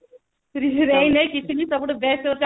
ସବୁଠୁ best ହଉଛି